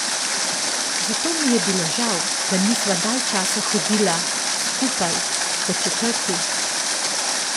Zato mi je bilo žal, da nisva dalj časa hodila, skupaj, po četrti.